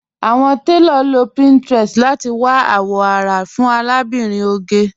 Awọn tẹlọ ló pinterest láti wà awọn ará fún Àlàbírín Ògè.